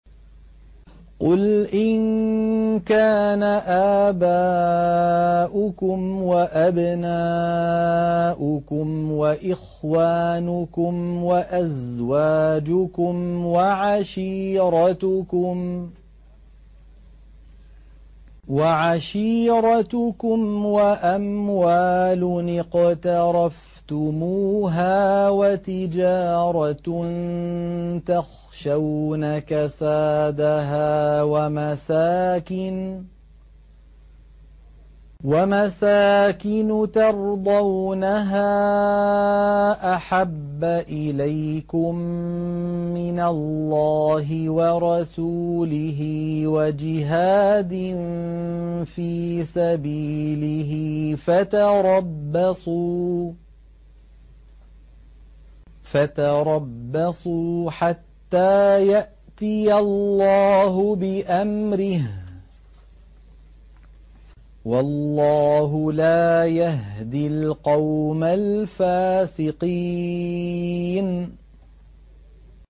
قُلْ إِن كَانَ آبَاؤُكُمْ وَأَبْنَاؤُكُمْ وَإِخْوَانُكُمْ وَأَزْوَاجُكُمْ وَعَشِيرَتُكُمْ وَأَمْوَالٌ اقْتَرَفْتُمُوهَا وَتِجَارَةٌ تَخْشَوْنَ كَسَادَهَا وَمَسَاكِنُ تَرْضَوْنَهَا أَحَبَّ إِلَيْكُم مِّنَ اللَّهِ وَرَسُولِهِ وَجِهَادٍ فِي سَبِيلِهِ فَتَرَبَّصُوا حَتَّىٰ يَأْتِيَ اللَّهُ بِأَمْرِهِ ۗ وَاللَّهُ لَا يَهْدِي الْقَوْمَ الْفَاسِقِينَ